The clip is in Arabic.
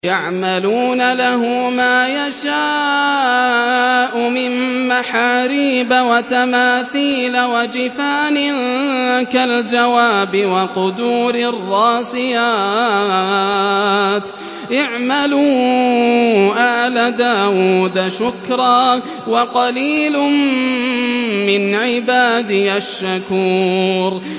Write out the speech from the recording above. يَعْمَلُونَ لَهُ مَا يَشَاءُ مِن مَّحَارِيبَ وَتَمَاثِيلَ وَجِفَانٍ كَالْجَوَابِ وَقُدُورٍ رَّاسِيَاتٍ ۚ اعْمَلُوا آلَ دَاوُودَ شُكْرًا ۚ وَقَلِيلٌ مِّنْ عِبَادِيَ الشَّكُورُ